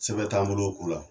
Sɛbɛn t'an bolo o ko la